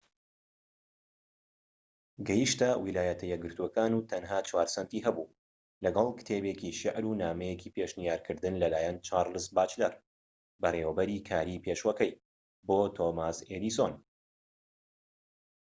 گەیشتە ویلایەتە یەکگرتوەکان و تەنها ٤ سەنتی هەبوو، لەگەڵ کتێبێکی شیعر و نامەیەکی پێشنیارکردن لەلایەن چارلز باچلەر بەڕێوەبەری کاری پێشوەکەی بۆ تۆماس ئێدیسۆن